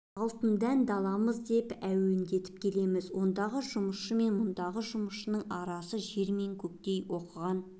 алтын дән даламыз деп әндетумен келеміз ондағы жұмысшы мен мұндағы жұмысшының арасы жер мен көктей оқыған